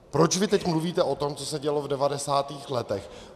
Proč vy teď mluvíte o tom, co se dělo v devadesátých letech?